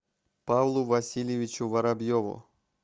павлу васильевичу воробьеву